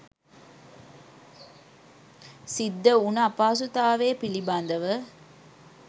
සිද්ධ වුන අපහසුතාවය පිළිබඳව.